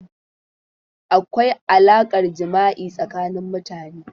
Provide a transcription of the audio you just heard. Akwai alaƙar jima'i tsakanin mutane.